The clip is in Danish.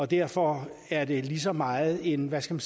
derfor er det lige så meget en hvad skal